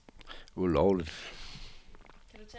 ulovligt